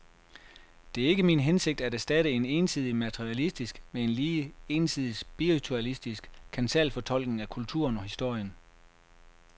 Det er ikke min hensigt at erstatte en ensidig materialistisk med en lige ensidig spiritualistisk kansalfortolkning af kulturen og historien.